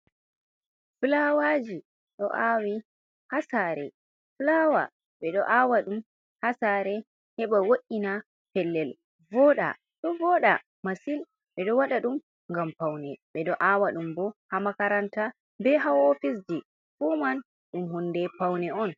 Fulawaji ɗo awi ha sare, fulawa ɓe ɗo awa ɗum ha sare heɓa wo’’ina pellel voɗa, ɗo voɗa masin, ɓeɗo waɗa ɗum ngam paune, ɓe ɗo awa ɗum bo ha makaranta, be ha ofisji, fu man ɗum hunde paune on.